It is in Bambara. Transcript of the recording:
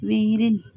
U bɛ yiri